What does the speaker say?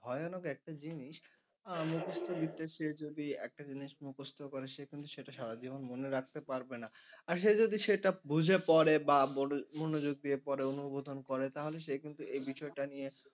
ভয়ানক একটা জিনিস আহ মুখস্থ বিদ্যা সে যদি একটা জিনিস মুখস্থ করে সে কিন্তু সারা জীবন মনে রাখতে পারবে না আর সে যদি বুঝে পরে বা বড়ো মনোযোগ দিয়ে পরে অনুবোধন করে তাহলে সে কিন্তু এ বিষয়টা নিয়ে